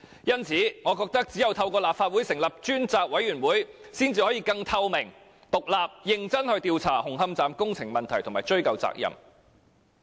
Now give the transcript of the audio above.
因此，我認為只有透過立法會成立專責委員會，才可以更透明、獨立和認真地調查紅磡站工程問題並追究責任。